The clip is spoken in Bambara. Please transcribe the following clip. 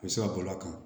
U bɛ se ka bɔl'a kan